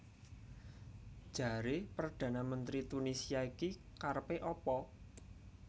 Jare perdana menteri Tunisia ki karepe apa